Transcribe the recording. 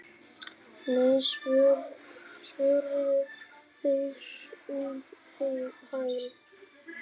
Nei svöruðu þeir um hæl.